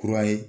Kura ye